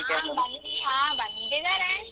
ಹಾ ಬಂದಿದ್ದಾರೆ.